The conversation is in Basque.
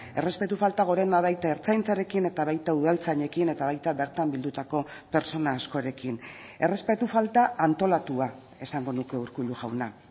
errespetu falta gorena baita ertzaintzarekin eta baita udaltzainekin eta baita bertan bildutako pertsona askorekin errespetu falta antolatua esango nuke urkullu jauna